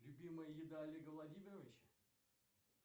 любимая еда олега владимировича